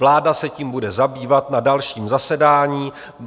Vláda se tím bude zabývat na dalším zasedání.